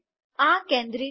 આ કેન્દ્રિત નથી